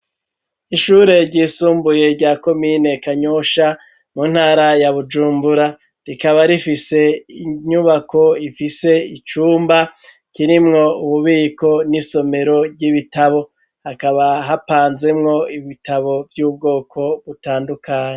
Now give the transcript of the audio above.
Ishure ryisumbuye rya komine Kanyosha, mu ntara ya Bujumbura, rikaba rifise inyubako ifise icumba kirimwo ububiko n'isomero ry'ibitabo, hakaba hapanzemwo ibitabo vy'ubwoko butandukanye.